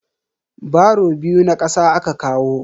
Baro biyu na kasa aka kawo.